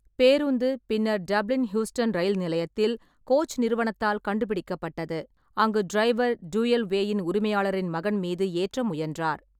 பேருந்து பின்னர் Dublin Heuston rail நிலையத்தில் கோச் நிறுவனத்தால் கண்டுபிடிக்கப்பட்டது, அங்கு டிரைவர் டூயல்வேயின் உரிமையாளரின் மகன் மீது ஏற்ற முயன்றார்.